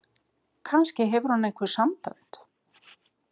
Kannski hefur hún einhver sambönd?